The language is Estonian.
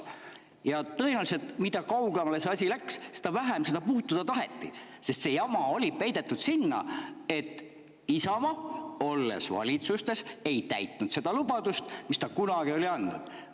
Tõenäoliselt oli nii, et mida kaugemale see, seda vähem seda puutuda taheti, sest see jama oli peidetud sinna, et Isamaa, olles valitsustes, ei täitnud lubadust, mille ta oli kunagi andnud.